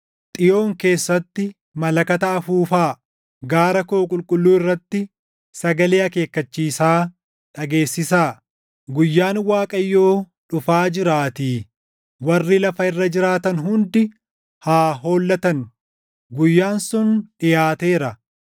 Xiyoon keessatti malakata afuufaa; gaara koo qulqulluu irratti sagalee // akeekkachiisaa dhageessisaa. Guyyaan Waaqayyoo dhufaa jiraatii; warri lafa irra jiraatan hundi haa hollatan. Guyyaan sun dhiʼaateera;